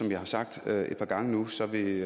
jeg har sagt et par gange nu så vil